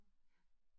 Ja